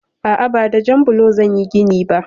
A'a, ba da jan blo zan yi gini ba.